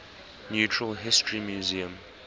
natural history museum